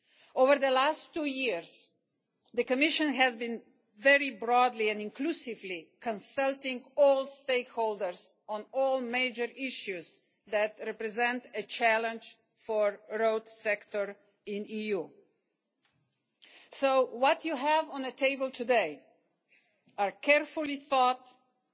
Over the past two years, the Commission has been very broadly and inclusively consulting all stakeholders on all the major issues that represent a challenge for the road sector in the EU. So what you have on the table today are carefully thought out